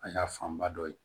A y'a fanba dɔ ye